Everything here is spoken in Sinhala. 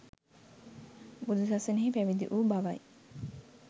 බුදු සසුනෙහි පැවිදි වූ බවයි.